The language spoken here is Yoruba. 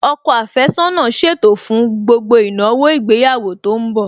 Ọkọ àfẹ́sọ́nà ṣètò fún gbogbo ìnáwó ìgbéyàwó tó ń bọ̀